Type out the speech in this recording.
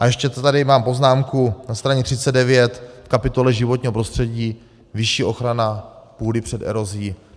A ještě tady mám poznámku na straně 39 v kapitole Životního prostředí - vyšší ochrana půdy před erozí.